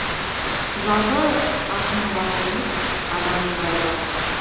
ы жалпы ақынның ғана емес адамның бәрі жалғыз